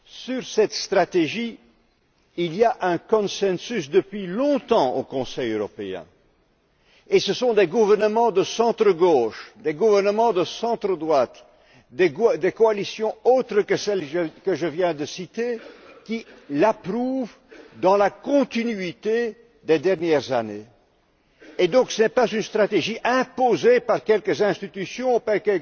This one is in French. Sur cette stratégie, il y a depuis longtemps un consensus au Conseil européen, et ce sont des gouvernements de centre gauche, des gouvernements de centre droite, des coalitions autres que celles que je viens de citer, qui l'approuvent dans la continuité des dernières années. Ce n'est donc pas une stratégie imposée par quelques institutions, par